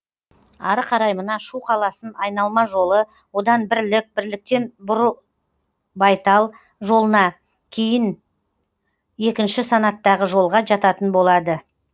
ары қарай мына шу қаласын айналма жолы одан бірлік бірліктен бұрылбайтал жолына кейін екінші санаттағы жолға жататын болады